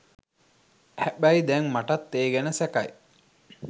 හැබැයි දැන් මටත් ඒ ගැන සැකයි